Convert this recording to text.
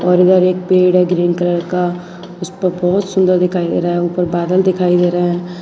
और इधर एक पेड है ग्रीन कलर का उसपर बहोत सुंदर दिखाई दे रहा है ऊपर बादल दिखाई दे रहा है।